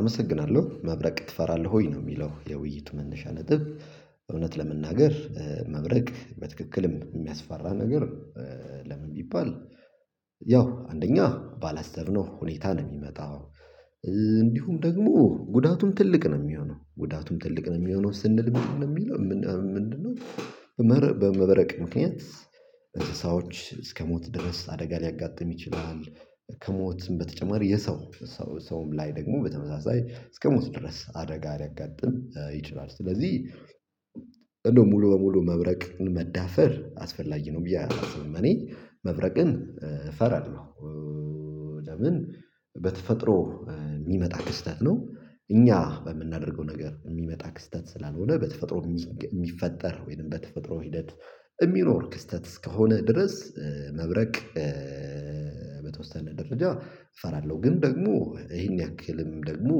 አመሰግናለሁ መብረቅ ትፈራለህ ወይ ነው? የሚለው የውይይቱ መነሻ ነጥብ እውነት ለመናገር መብረቅ በትክክልም የሚያስፈራ ነገር። ለምን ቢባል ያው አንደኛ ባላሰብነው ሁኔታ ነው የሚመጣው። እንዲሁም ደግሞ ጉዳቱም ትልቅ ነው የሚሆነው ጉዳቱም ትልቅ ነው የሚሆነው ስንል ምንድነው የሚለው ምንድነው በመብረቅ ምክንያት እንስሳዎች እስከ ሞት ድረስ አደጋ ሊያጋጥም ይችላል። ከሞትም በተጨማሪ የሰው ሰውም ላይ ደግሞ በተመሳሳይ እስከሞት ድረስ አደጋ ሊያጋጥም ይችላል። ስለዚህ እንደው ሙሉ በሙሉ መብረቅን መዳፈር አስፈላጊ ነው ብዬ አላስብኝ። መብረቅን እፈራርለሁ። ለምን በተፈጥሮ የሚመጣ ክስተት ነው። እኛ በምናደርገው ነገር የሚመጣ ክስተት ስላልሆነ በተፈጥሮ የሚፈጠር ወይንም በተፈጥሮ ሂደት የሚኖር ክስተት እስከሆነ ድረስ መብረቅ በተወሰነ ደረጃ እፈራለሁ። ግን ደግሞ ይሄን ያክልም ደግሞ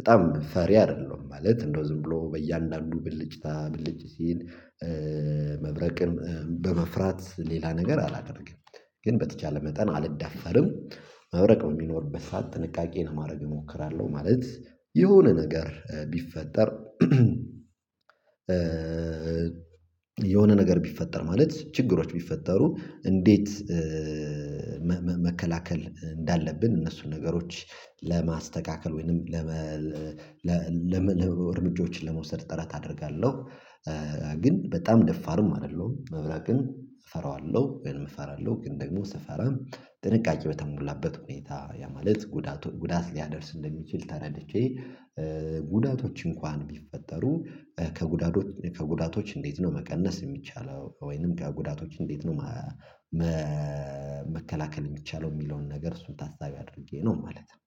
በጣም ፈሪ አይደለሁም ማለት እንደው ዝም ብሎ በእያንዳንዱ ብልጭታ ብልጭ ሲል። መብረቅን በመፍራት ሌላ ነገር አላደርግም። ግን በተቻለ መጠን አልዳፈርም። መብረቅ የሚኖርበት ሰዓት ጥንቃቄን ለማድረግ እሞክራለሁ ማለት። የሆነ ነገር ቢፈጠር የሆነ ነገር ቢፈጠር ማለት ችግሮች ቢፈጠሩ። እንዴት? መከላከል እንዳለብን እነሱን ነገሮች ለማስተካከል ወይንም ለመ ለመ እርምጃዎችን ለመውሰድ ጥረት አደርጋለሁ። ግን በጣም ደፋርም አይደለሁም መብራቅን እፈራዋለሁ ግን እፈራለሁ። ግን ደግሞ ስፈራ ጥንቃቄ በተሞላበት ሁኔታ ያ ማለት ጉዳቱን ጉዳት ሊያደርስ እንደሚችል ተረድቼ ጉዳቶች እንኳን ቢፈጠሩ። ከጉዳቶች ከጉዳቶች እንዴት ነው መቀነስ የሚቻለው ወይንም ከጉዳቶች እንዴት ነው? መከላከል የሚቻለው የሚለውን ነገር እሱን ታሳቢ አድርጌ ነው ማለት ነው።